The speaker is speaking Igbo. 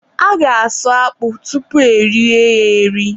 a ga-asụ akpụ tupu erie ya eri.